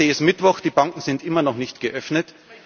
Heute ist Mittwoch, die Banken sind immer noch nicht geöffnet.